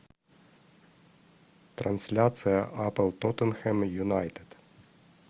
трансляция апл тоттенхэм юнайтед